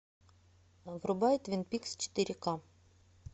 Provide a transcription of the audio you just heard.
врубай твин пикс четыре ка